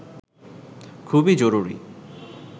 খুবই জরুরি